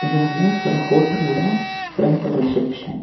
இது வந்து ஒரு ஹோட்டல் ஓட ஃப்ரெண்ட்டு ரிசப்ஷன் .